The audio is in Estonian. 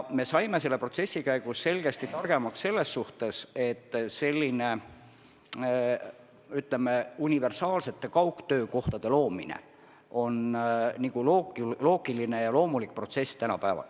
Me oleme selle protsessi käigus selgesti targemaks saanud selles suhtes, et niisugune, ütleme, universaalsete kaugtöökohtade loomine on tänapäeval loogiline ja loomulik protsess.